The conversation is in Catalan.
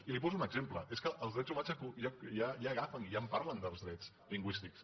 i li’n poso un exemple és que els drets humans ja agafen ja en parlen dels drets lingüístics